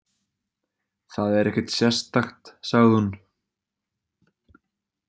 Það er ekkert sérstakt, sagði hún.